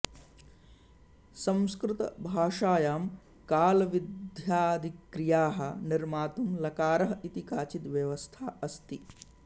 संस्कतभाषायां कालविध्यादिक्रियाः निर्मातुं लकारः इति काचित् व्यवस्था अस्ति